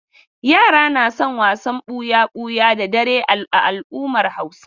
Yara na son wasan ɓuya-buya da dare a al'ummar Hausawa.